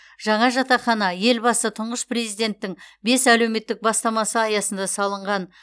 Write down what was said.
жаңа жатақхана елбасы тұңғыш президенттің бес әлеуметтік бастамасы аясында салынған